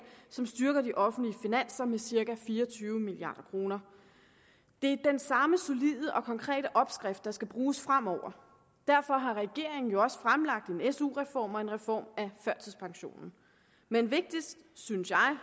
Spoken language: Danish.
som styrker de offentlige finanser med cirka fire og tyve milliard kroner det er den samme solide og konkrete opskrift der skal bruges fremover derfor har regeringen jo også fremlagt en su reform og en reform af førtidspensionen men vigtigst synes jeg